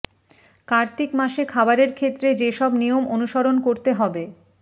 কার্তিক মাসে খাবারের ক্ষেত্রে যেসব নিয়ম অনুসরণ করতে হবে